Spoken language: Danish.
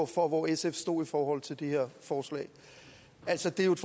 for hvor sf stod i forhold til det her forslag altså det er jo et